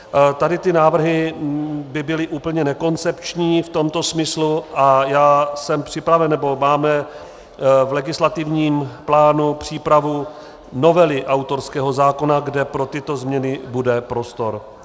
Tady ty návrhy by byly úplně nekoncepční v tomto smyslu a já jsem připraven, nebo máme v legislativním plánu přípravu novely autorského zákona, kde pro tyto změny bude prostor.